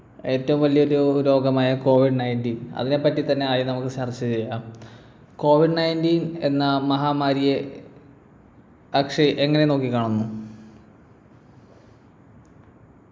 ഏറ്റവും വലിയൊരു രോഗമായ covid nineteen അതിനെപ്പറ്റി തന്നെ ആദ്യം നമുക്ക് ചർച്ച ചെയ്യാം covid nineteen എന്ന മഹാമാരിയെ അക്ഷയ് എങ്ങനെ നോക്കിക്കാണുന്നു